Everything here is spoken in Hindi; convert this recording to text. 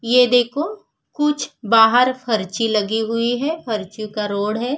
ये देखो कुछ बाहर फर्ची लगी हुए हैं फर्चियों का रोड है।